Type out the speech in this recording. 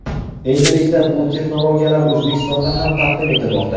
Endilikda, bu texnologiyalar O‘zbekistonda ham taqdim etilmoqda.